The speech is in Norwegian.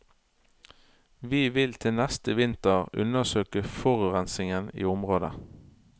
Vi vil til neste vinter undersøke forurensingen i området.